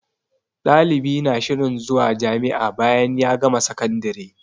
Ɗalibi na shirin zuwa jami'a bayan ya gama sakandire